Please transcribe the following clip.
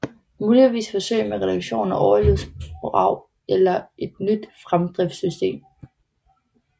Muligvis forsøg med reduktion af overlydsbrag eller et nyt fremdriftssystem